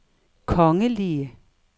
kongelige